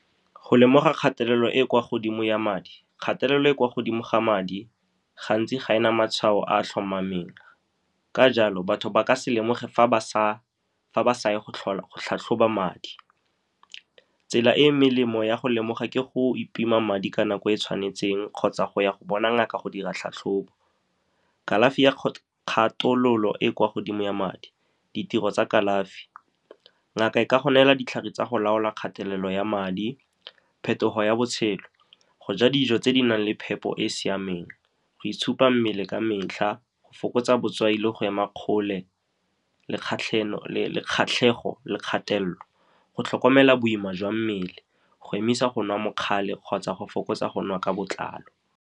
Go lemoga kgatelelo e e kwa godimo ya madi, kgatelelo e e kwa godimo ga madi gantsi ga e na matshwao a a tlhomameng, ka jalo batho ba ka se lemoge fa ba sa ye go tlhatlhoba madi. Tsela e e molemo ya go lemoga ke go itima madi ka nako e e tshwanetseng, kgotsa go ya go bona ngaka go dira tlhatlhobo. Kalafi ya e e kwa godimo ya madi, ditiro tsa kalafi, ngaka e ka go nela ditlhare tsa go laola kgatelelo ya madi. Phetogo ya botshelo, go ja dijo tse di nang le phepo e e siameng, go itshupa mmele ka metlha, go fokotsa botswai, le go ema kgole le kgatlhego le kgatelelo, go tlhokomela boima jwa mmele, go emisa go nwa mokgale, kgotsa go fokotsa go nwa ka botlalo.